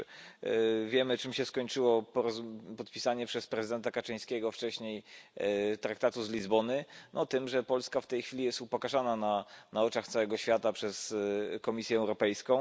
Już wiemy, czym się skończyło podpisanie przez prezydenta Kaczyńskiego wcześniej Traktatu z Lizbony tym, że Polska w tej chwili jest upokarzana na oczach całego świata przez Komisję Europejską.